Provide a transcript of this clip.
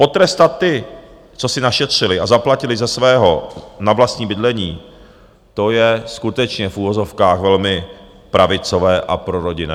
Potrestat ty, co si našetřili a zaplatili ze svého na vlastní bydlení, to je skutečně v uvozovkách velmi pravicové a prorodinné.